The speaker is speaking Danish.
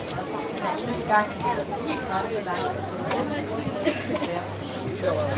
Han har endnu engang fundet den helt rette balance mellem en let brugerflade og de svære problemer.